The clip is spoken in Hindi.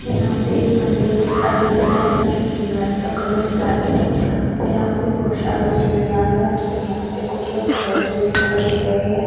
यहाँ से एक मंदिर दिखाई दे रहा है। जिसकी दीवाल का कलर वाइट है और यहाँ पर बोहोत सारे सीढियां भी बनी हुई हैं। यहाँ पर कुछ लोग खड़े दिखाई दे रहे हैं।